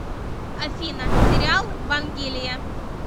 афина сериал вангелия